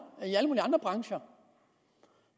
brancher